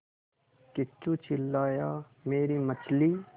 किच्चू चिल्लाया मेरी मछली